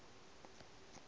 phasa ga e name e